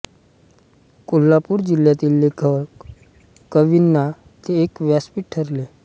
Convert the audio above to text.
कोल्हापूर जिल्ह्यातील लेखक कवींना ते एक व्यापसीठ ठरले